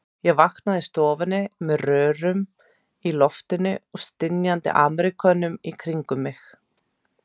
Ég vaknaði í stofu með rörum í loftinu og stynjandi Ameríkönum í kringum mig.